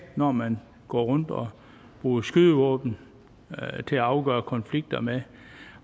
når man går rundt og bruger skydevåben til at afgøre konflikter med